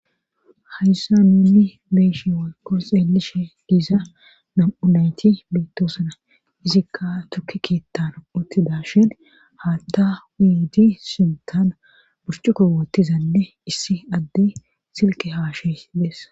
hayssan nuuni be7ishe woykko xeelishe diza nam7u nayti bettosana izikka tukke keettan uttidashin haatta uyidi sinttan burcuqo woottizanne issi addey silke haasa7ishe dees.